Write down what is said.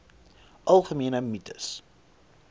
algemene mites